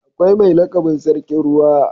Akwai mai lakabin sarkin ruwa.